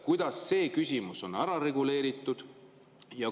Kuidas see küsimus on ära reguleeritud?